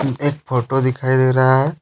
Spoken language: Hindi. एक फोटो दिखाई दे रहा है।